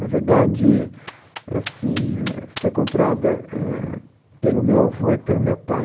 Na verdade, é assim, é, foi comprada, é, pelo meu avô e pelo meu pai.